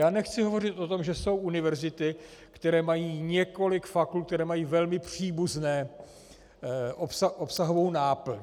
Já nechci hovořit o tom, že jsou univerzity, které mají několik fakult, které mají velmi příbuznou obsahovou náplň.